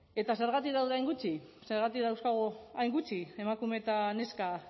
eta zergatik daude hain gutxi zergatik dauzkagu hain gutxi emakume eta neska